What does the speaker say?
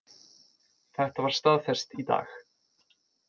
Þetta var staðfest í dag